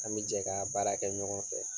An bɛ jɛ ka baara kɛ ɲɔgɔn fɛ.